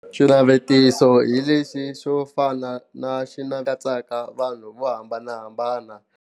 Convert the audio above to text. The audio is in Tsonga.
Xinavetiso hi lexi xo fana na xi katsaka vanhu vo hambanahambana.